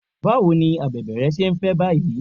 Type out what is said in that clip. Báwo ni abèbè rẹ ṣé ń fẹ́ báyìí?